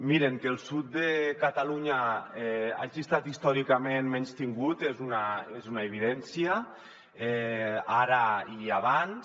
mirin que el sud de catalunya ha estat històricament menystingut és una evidència ara i abans